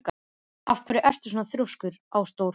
Af hverju ertu svona þrjóskur, Ásdór?